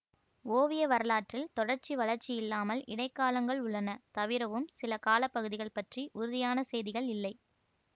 ஓவிய வரலாற்றில் தொடர்ச்சி வளர்ச்சியில்லாமல் இடைக்காலங்கள் உள்ளன தவிரவும் சில காலப்பகுதிகள் பற்றி உறுதியான செய்திகள் இல்லை